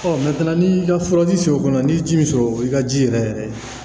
n'i ka furaji fiyɛ o kɔnɔ n'i ye ji min sɔrɔ i ka ji yɛrɛ yɛrɛ